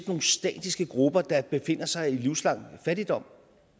nogle statiske grupper der befinder sig i livslang fattigdom